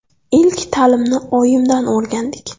Ilk ta’limni oyimdan o‘rgandik.